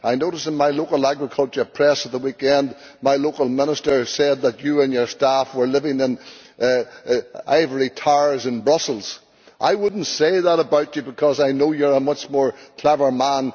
I noticed in my local agricultural press at the weekend that my local minister said that you and your staff were living in ivory towers in Brussels. I would not say that about you, because I know you are a much cleverer